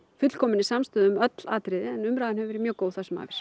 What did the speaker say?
fullkominni samstöðu um öll atriði en umræðan hefur verið mjög góð það sem